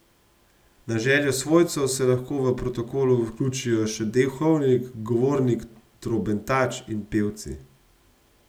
Na željo svojcev se lahko v protokol vključijo še duhovnik, govornik, trobentač in pevci.